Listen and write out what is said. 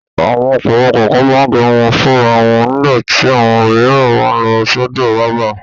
Àwọn ọkùnrin kọ̀ọ̀kan máa ń gẹrun wọn fúnra wọn nígbà tí àwọn òmíràn máa lọ sọ́dọ̀ bábà.